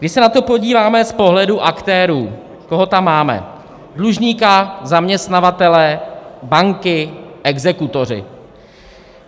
Když se na to podíváme z pohledu aktérů, koho tam máme: dlužníka, zaměstnavatele, banky, exekutory.